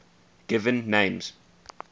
given names